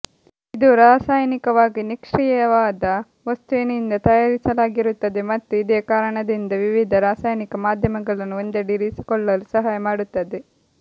ಇದು ರಾಸಾಯನಿಕವಾಗಿ ನಿಷ್ಕ್ರಿಯವಾದ ವಸ್ತುವಿನಿಂದ ತಯಾರಿಸಲಾಗಿರುತ್ತದೆ ಮತ್ತು ಇದೇ ಕಾರಣದಿಂದ ವಿವಿಧ ರಾಸಾಯನಿಕ ಮಾಧ್ಯಮಗಳನ್ನು ಒಂದೆಡೆ ಇರಿಸಿಕೊಳ್ಳಲು ಸಹಾಯ ಮಾಡುತ್ತದೆ